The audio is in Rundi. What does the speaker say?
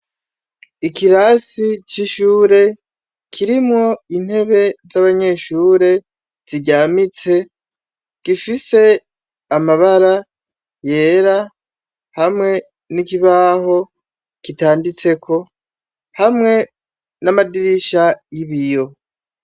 Ikirasi c'ishure kirimwo intebe z'abanyeshure ziryamitse , gifise amabara yera hamwe n'ikibaho kitanditseko, hamwe n'amadirisha y'ibiyo.